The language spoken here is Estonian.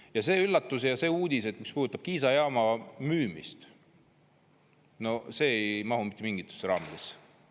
Ja see üllatus ja see uudis, mis puudutab Kiisa jaama müümist – no see ei mahu mitte mingitesse raamidesse.